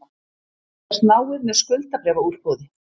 Fylgjast náið með skuldabréfaútboði